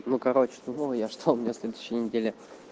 ну короче дуал я что у меня следующая неделя